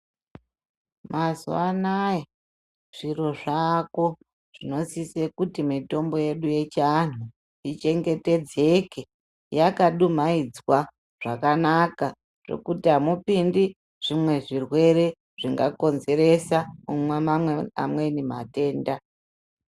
Mazuwanaya, zviro zvako zvinosise kuti mitombo yedu yechi anhu ichengetedzeke, yakadumayidzwa zvakanaka zvokuti hamupindi zvimwe zvirwere zvingakondzeresa amweni matenda.